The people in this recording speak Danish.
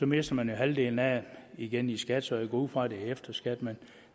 mister man jo halvdelen af dem igen i skat så jeg går ud fra at det er efter skat men